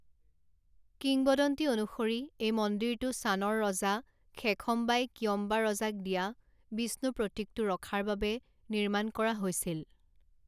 কিংবদন্তি অনুসৰি এই মন্দিৰটো শ্বানৰ ৰজা খেখম্বাই কিয়ম্বা ৰজাক দিয়া বিষ্ণু প্ৰতীকটো ৰখাৰ বাবে নিৰ্মাণ কৰা হৈছিল।